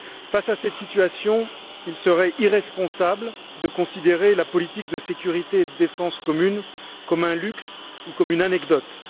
Face à cette situation, il serait irresponsable de considérer la politique de sécurité et de défense commune comme un luxe ou comme une anecdote.